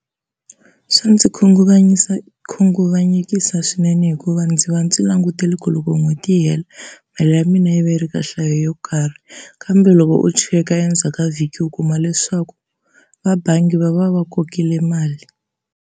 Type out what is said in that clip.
Swa ndzi khunguvanyekisa swinene hikuva ndzi va ndzi langutele ku loko n'hweti yi hela mali ya mina yi va yi ri ka nhlayo yo karhi, kambe loko u cheka endzhaku ka vhiki u kuma leswaku vabangi va va va kokile mali.